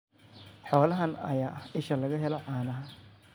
Xoolahan ayaa ah isha laga helo caanaha.